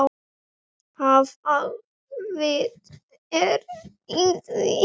Hvaða vit er í því?